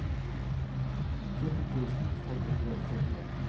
fjorten tusen fem hundre og førtien